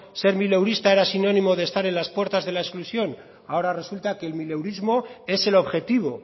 ser mileurista era sinónimo de estar en las puertas de la exclusión ahora resulta que el mileurismo es el objetivo